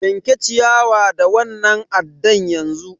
Yanke ciyawa da wannan addan yanzu!